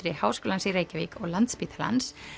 Háskólans í Reykjavík og Landspítalans